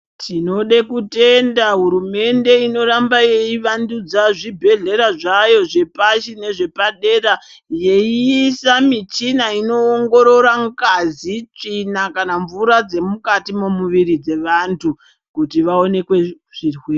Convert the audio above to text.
Tinode kutenda hurumende inoramba yeivandudza zvibhehlera zvayo zvepashi nezvepadera yeiyisa michina inoongorora ngazi, tsvina kana mvura dzemukati momuviri dzevantu kuti vaonekwe zvirwere.